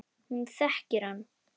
Hún þekkir hann.